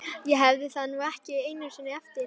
Ég hef það nú ekki einu sinni eftir